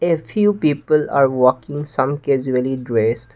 a few people are walking some casually dressed.